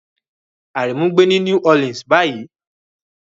Aremu ń gbé ní New Orleans báyìí.